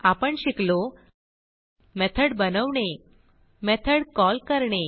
आपण शिकलो मेथॉड बनवणे मेथॉड कॉल करणे